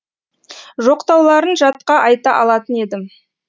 жоқтауларын жатқа айта алатын едім